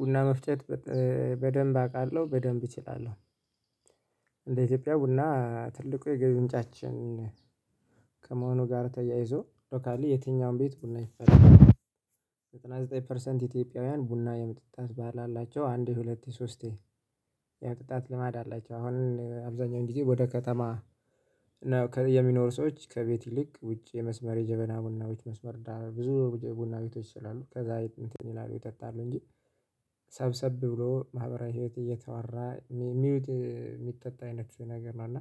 ቡና መፍጨት በደንብ አውቃለሁ በደንብ እችላለሁ። እንደ ኢትዮጵያ ቡና ትልቁ የገቢ ምንጫችን ከመሆኑ ጋር ተያይዞ ሎካሊ የትኛውም ቤት ቡና ይፈላል። ዘጠና ዘጠኝ ፐርሰንት ኢትዮጵያውያን ቡና የመጠጣት ባህል አላቸው አንድ ሁለት ሶስቴ የቅጣት ልማድ አላቸው። አሁን አብዛኛው ጊዜ ወደ ከተማ የሚኖሩ ሰዎች ከቤት ይልቅ ውጪ የመስመር የጀበና ቡናዎች መስመር ብዙ ቡና ቤቶዎች ስላሉ ከዛ እንትን ይላሉ ይጠጣሉ እንጂ ሰብሰብ ብሎ ማህበራዊ ህይወት እየተዋራ የሚውድ የሚጠጣ አይነት ነገር ነው። እና